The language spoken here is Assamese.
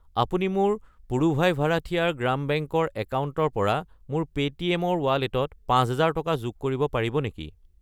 আপুনি মোৰ পুড়ুভাই ভাৰাঠিয়াৰ গ্ৰাম বেংক ৰ একাউণ্টৰ পৰা মোৰ পে'টিএম ৰ ৱালেটত 5000 টকা যোগ কৰিব পাৰিব নেকি?